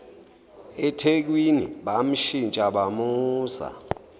ethekwini bamshintsha bamusa